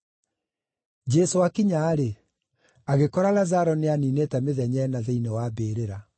Jesũ aakinya-rĩ, agĩkora Lazaro nĩaniinĩte mĩthenya ĩna thĩinĩ wa mbĩrĩra.